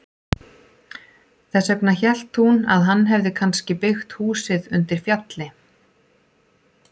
Þess vegna hélt hún að hann hefði kannski byggt húsið undir fjalli.